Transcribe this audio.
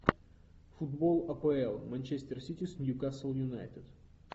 футбол апл манчестер сити с ньюкасл юнайтед